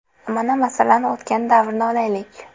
Mana, masalan, o‘tgan davrni olaylik.